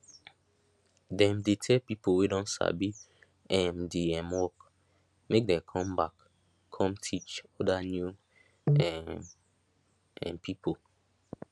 dem dey tell pipo wey don sabi um di um work make dem com back com teach oda new um um pipo